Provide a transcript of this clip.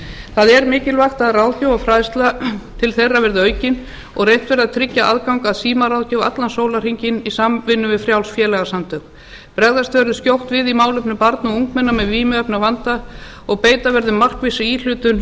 það er mikilvægt að ráðgjöf og fræðsla til þeirra verði aukin og reynt verði að tryggja aðgang að símaráðgjöf allan sólarhringinn í samvinnu við frjáls félagasamtök bregðast verður skjótt við í málefnum barna og ungmenna með vímuefnavanda og beita verður markvissri íhlutun